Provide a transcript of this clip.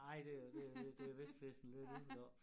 Ej det er det er det det er er vist fesen lidt ud deroppe